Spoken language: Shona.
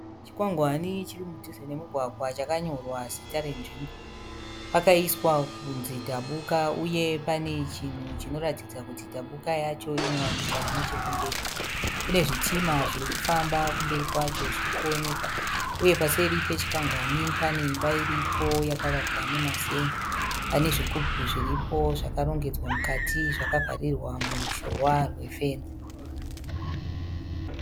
Chikwangwani chiri mudhuze nemumugwagwa chakanyorwa zita renzvimbo. Pakaiswa kunzi Dhabuka uye pane chinhu chinoratidza kuti Dhabuka yacho inowanikwa nechekumberi. Kune zvitima zvirikufamba kumberi kwacho zvirikuoneka. Uye paseri pechikwangwari pane imba iripo yakavakwa nemazen'e. Pane zvigubhu zviripo zvakarongedzwa , mukati zvakavharirwa muruzhowa rwe fenzi.